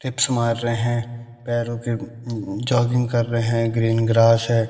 Hips मार रहे हैं पैरों के उम्म उम्म जॉगिंग कर रहे है ग्रीन ग्रास है।